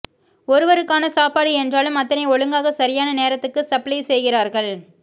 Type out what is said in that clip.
ஒருவருக்கான சாப்பாடு என்றாலும் அத்தனை ஒழுங்காக சரியான நேரத்துக்கு சப்ளை செய்கிறார்கள்